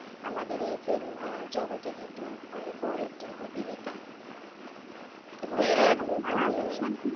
আমাদের এই film জগতের কিন্তু অনেক বড়ো একটা অভিনেতা, এবং,